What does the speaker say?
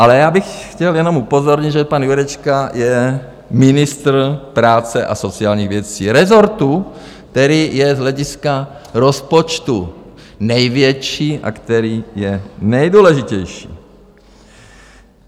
Ale já bych chtěl jenom upozornit, že pan Jurečka je ministr práce a sociálních věcí, rezortu, který je z hlediska rozpočtu největší a který je nejdůležitější.